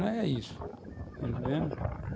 Não é isso, está entendendo?